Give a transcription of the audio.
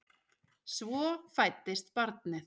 Svo fæddist barnið.